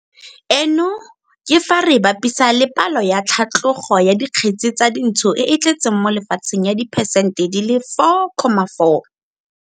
Eno ke fa re e bapisa le palo ya tlhatlogo ya dikgetse tsa dintsho e e tletseng mo lefatsheng ya diphesente di le 4,4.